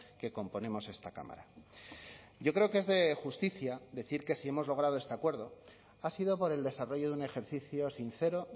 que componemos esta cámara yo creo que es de justicia decir que si hemos logrado este acuerdo ha sido por el desarrollo de un ejercicio sincero